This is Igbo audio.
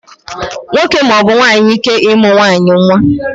Nwoke maọbụ nwaanyị ike ịmụ nwaanyị nwa